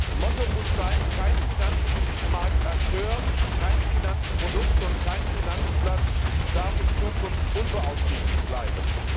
Das Motto muss sein Kein Finanzmarktakteur, kein Finanzprodukt und kein Finanzplatz darf in Zukunft unbeaufsichtigt bleiben.